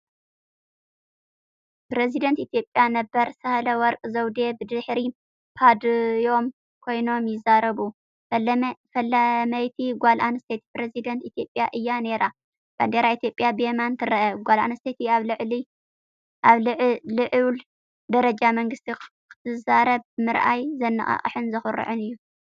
ፕረዚደንት ኢትዮጵያ ነበር ሳህለወርቅ ዘውዴ ብድሕሪ ፖድዮም ኮይኖም ይዛረቡ። ፈላመይቲ ጓል ኣንስተይቲ ፕረዚደንት ኢትዮጵያ እያ ነይራ። ባንዴራ ኢትዮጵያ ብየማን ትርአ። ጓል ኣንስተይቲ ኣብ ልዑል ደረጃ መንግስቲ ክትዛረብ ምርኣይ ዘነቓቕሕን ዘኹርዕን እዩ።